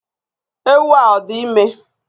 Ewu a o di ime?